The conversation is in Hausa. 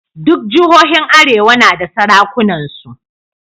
Duk jihohin arewa na da sarakunansu.